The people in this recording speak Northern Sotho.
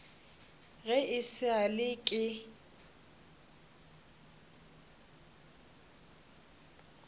ge e sa le ke